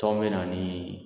Tɔn bɛna ni